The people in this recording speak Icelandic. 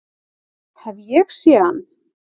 Hef ég séð hann?